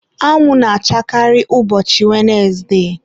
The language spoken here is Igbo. anwụ na-achakarị ụbọchị wenesde.